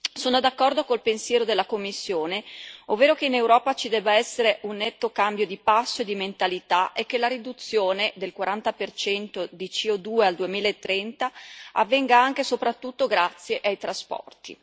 Sono d'accordo con il pensiero della Commissione, ovvero che in Europa ci debba essere un netto cambio di passo e di mentalità e che la riduzione del 40 di CO2 al 2030 avvenga anche soprattutto grazie ai trasporti.